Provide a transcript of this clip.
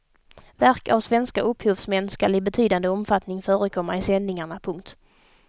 Verk av svenska upphovsmän skall i betydande omfattning förekomma i sändningarna. punkt